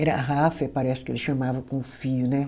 Era ráfia, parece que ele chamava com fio, né?